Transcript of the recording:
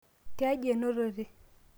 tiaji enotote?